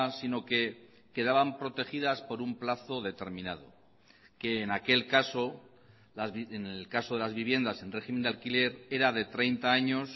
sino que quedaban protegidas por un plazo determinado que en aquel caso en el caso de las viviendas en régimen de alquiler era de treinta años